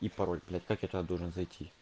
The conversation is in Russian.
и пароль блядь как я туда должен зайти